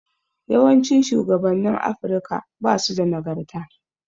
Yawancin shugabannin Afirika basu da nagarta.